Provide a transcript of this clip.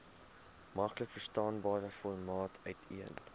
maklikverstaanbare formaat uiteen